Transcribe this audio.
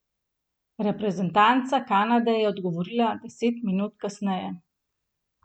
Reprezentanca Kanade je odgovorila deset minut kasneje.